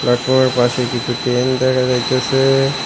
Platform -এর পাশে কিছু টেন দেখা যাইতাসে।